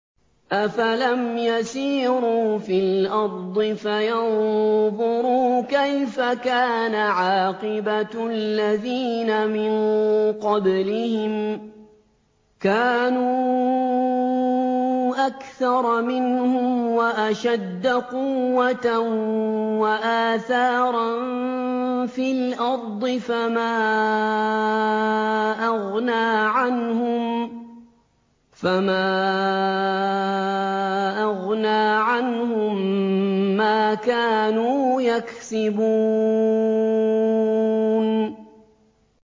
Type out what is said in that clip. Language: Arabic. أَفَلَمْ يَسِيرُوا فِي الْأَرْضِ فَيَنظُرُوا كَيْفَ كَانَ عَاقِبَةُ الَّذِينَ مِن قَبْلِهِمْ ۚ كَانُوا أَكْثَرَ مِنْهُمْ وَأَشَدَّ قُوَّةً وَآثَارًا فِي الْأَرْضِ فَمَا أَغْنَىٰ عَنْهُم مَّا كَانُوا يَكْسِبُونَ